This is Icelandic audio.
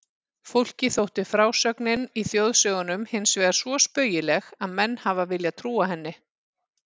Fólki þótti frásögnin í þjóðsögunum hinsvegar svo spaugileg að menn hafa viljað trúa henni.